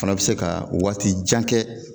O fana bɛ se ka waati jan kɛ.